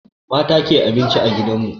Mata ke abinci a gidan mu.